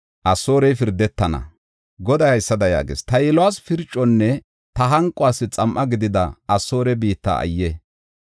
Goday haysada yaagees; “Ta yiluwas pirconne ta hanquwas xam7a gidida Asoore biitta ayye!